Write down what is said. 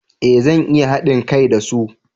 Eh zan iya hadin kai da su